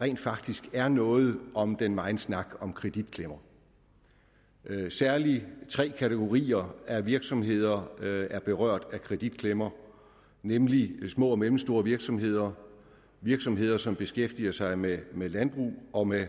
rent faktisk er noget om den megen snak om kreditklemmer særlig tre kategorier af virksomheder er berørt af kreditklemmer nemlig små og mellemstore virksomheder og virksomheder som beskæftiger sig med med landbrug og med